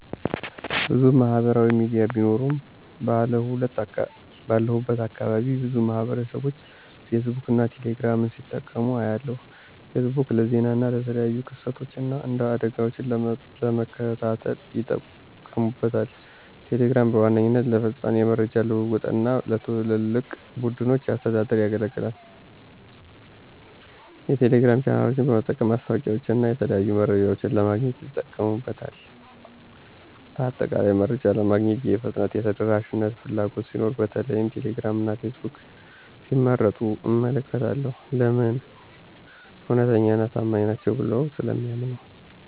**ብዙ ማህበራዊ ሚዲያ ቢኖሩም፦ ባለሁበት አካባቢ ብዙ ማህበረሰብቦች ፌስቡክን እና ቴሌ ግራምን ሲጠቀሙ አያለሁ፤ * ፌስቡክ: ለዜና እና የተለያዩ ክስተቶችን እና አደጋወችን ለመከታተል ይጠቀሙበታል። * ቴሌግራም: በዋነኛነት ለፈጣን የመረጃ ልውውጥ እና ለትላልቅ ቡድኖች አስተዳደር ያገለግላል። የቴሌግራም ቻናሎችን በመጠቀም ማስታወቂያወችንና የተለያዩ መረጃዎችን ለማግኘት ይጠቀሙበታል። በአጠቃላይ፣ መረጃ ለማግኘት የፍጥነትና የተደራሽነት ፍላጎት ሲኖር በተለይም ቴሌግራም እና ፌስቡክን ሲመርጡ እመለከታለሁ። *ለምን? እውነተኛና ታማኝ ናቸው ብለው ስለሚያምኑ።